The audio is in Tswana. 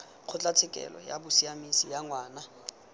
kgotlatshekelo ya bosiamisi ya ngwana